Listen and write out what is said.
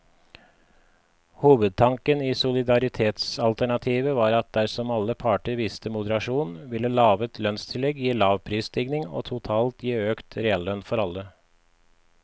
Hovedtanken i solidaritetsalternativet var at dersom alle parter viste moderasjon, ville lave lønnstillegg gi lav prisstigning og totalt gi økt reallønn for alle.